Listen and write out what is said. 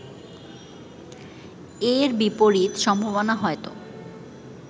এর বিপরীত সম্ভাবনা হয়তো